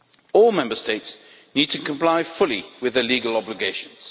All Member States need to comply fully with their legal obligations.